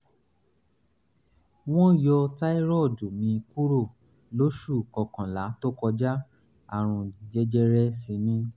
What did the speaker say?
wọ́n yọ táírọ́ọ̀dù mi kúrò lóṣù kọkànlá tó kọjá àrùn jẹjẹrẹ sì ni